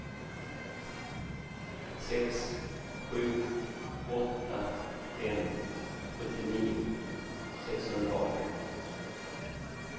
sex sju åtta fem sjuttionio sexhundraarton